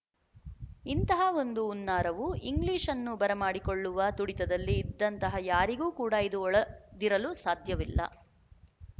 ಇಂತಹವೊಂದು ಹುನ್ನಾರವು ಇಂಗ್ಲಿಶನ್ನು ಬರಮಾಡಿಕೊಳ್ಳುವ ತುಡಿತದಲ್ಲಿ ಇದ್ದಂತಹ ಯಾರಿಗೂ ಕೂಡ ಇದು ಹೊಳದಿರಲು ಸಾಧ್ಯವಿಲ್ಲ